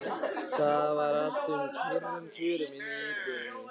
Það var allt með kyrrum kjörum inni í íbúðinni.